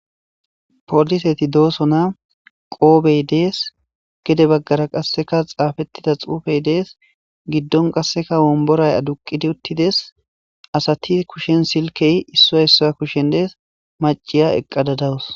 poliseti doosona qoobey dees gede baggara qasseka xaafettida xuufey dees giddon qasseka womboray aduqidi uttides asati kushshen silkey issoy issoya kushen dees maciya eqqadadawus